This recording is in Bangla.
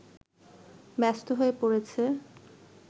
ব্যস্ত হয়ে পড়েছে